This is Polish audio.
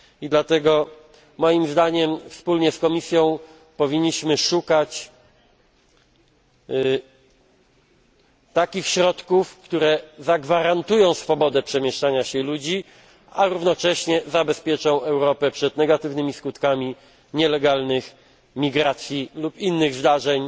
Dlatego moim zdaniem wspólnie z Komisją powinniśmy szukać takich środków, które zagwarantują swobodę przemieszczania się ludzi, a jednocześnie uchronią Europę przed negatywnymi skutkami nielegalnych migracji lub innych zdarzeń